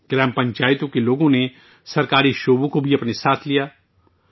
gram پنچایتوں کے لوگ سرکاری محکموں کو بھی اپنے ساتھ لے گئے